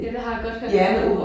Ja det har jeg godt hørt